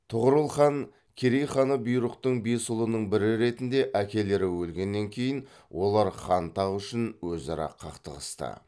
тұғырыл хан керей ханы бұйрықтың бес ұлының бірі ретінде әкелері өлгеннен кейін олар хан тағы үшін өзара қақтығысты